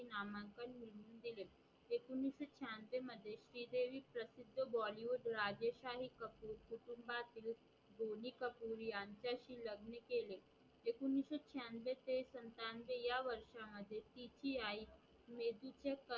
श्री देवी प्रशिध बॉलीवुड राजेसाहि कुटुंबहात बौणी कपूरयांचाशी लग्न केले एकोणविशे छ्यानवे ते सत्यानवे या वर्षा मध्ये तिची आई मेहेदीचा